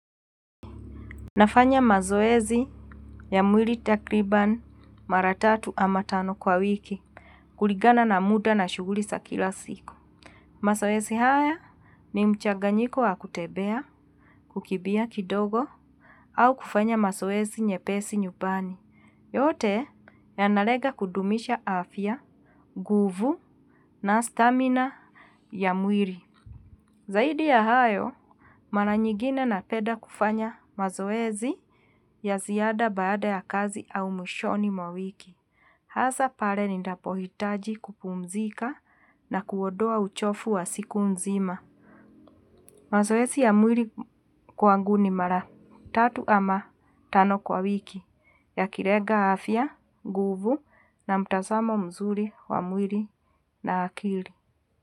Nafanya mazoezi ya mwili takribani mara tatu ama tano kwa wiki kulingana na muda na shughuli za kila siku. Mazoezi haya ni mchaganyiko wa kutembea, kukimbia kidogo, au kufanya mazoezi nyepesi nyumbani. Yote yanalenga kudumisha afya, nguvu na stamina ya mwili. Zaidi ya hayo, mara nyingine napenda kufanya mazoezi ya ziada baada ya kazi au mwishoni mwa wiki. Hasa pale ninapohitaji kupumzika na kuondoa uchovu wa siku nzima. Mazoezi ya mwili kwangu ni mara tatu ama tano kwa wiki yakilenga afya, nguvu na mtazamo mzuri wa mwili na akili.